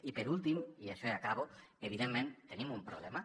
i per últim i això i acabo evidentment tenim un problema